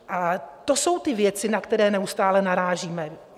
A to jsou ty věci, na které neustále narážíme.